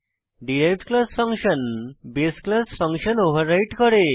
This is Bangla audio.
derived class function base class function override করে